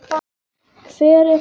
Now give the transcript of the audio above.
Hvar er Helena?